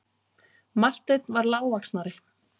Marteinn var lágvaxnari.